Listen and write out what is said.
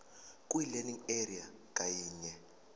kwilearning area ngayinye